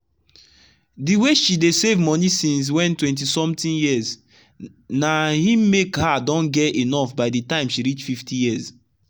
the way she dey save money since when twenty somtheing yearsna him make her don get enough by the time she reach 50years.